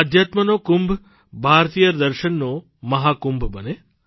આધ્યાત્મનો કુંભ ભારતીય દર્શનનો મહાકુંભ બને